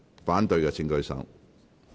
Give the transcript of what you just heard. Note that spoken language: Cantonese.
反對的請舉手。